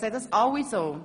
Sehen das alle so?